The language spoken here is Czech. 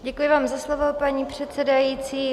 Děkuji vám za slovo, paní předsedající.